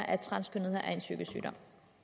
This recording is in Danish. at transkønnethed i psykisk sygdom